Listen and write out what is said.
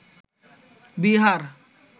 Bihar